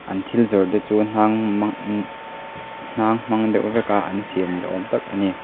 an thil zawrh te chu hnang mang ihh hnang hmang deuh vek a an siam niawm tak a ni.